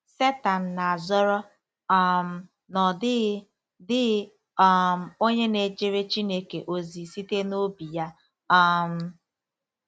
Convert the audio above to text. Setan na-azọrọ um na ọ dịghị dịghị um onye na-ejere Chineke ozi site n'obi ya um.